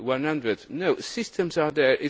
100. No systems are there